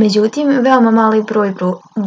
međutim veoma mali broj